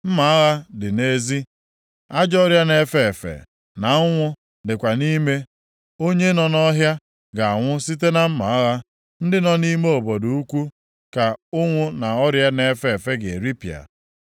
Mma agha dị nʼezi; ajọ ọrịa na-efe efe na ụnwụ dịkwa nʼime. Onye nọ nʼọhịa ga-anwụ site na mma agha, ndị nọ nʼime obodo ukwu ka ụnwụ na ọrịa na-efe efe ga-eripịa.